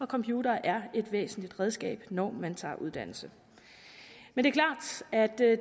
computere er et væsentligt redskab når man tager uddannelse men